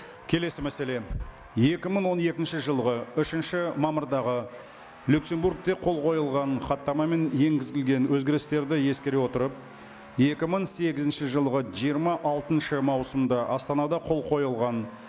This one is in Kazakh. келесі мәселе екі мың он екінші жылғы үшінші мамырдағы люксембургте қол қойылған хаттамамен енгізілген өзгерістерді ескере отырып екі мың сегізінші жылғы жиырма алтыншы маусымда астанада қол қойылған